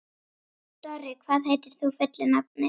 Dorri, hvað heitir þú fullu nafni?